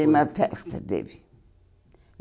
Teve uma festa, teve.